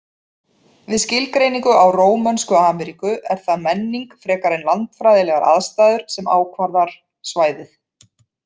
Við skilgreiningu á Rómönsku Ameríku er það menning frekar en landfræðilegar aðstæður sem ákvarðar svæðið.